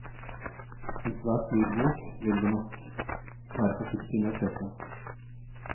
En svært dyr bok vil vi nok være forsiktige med å kjøpe.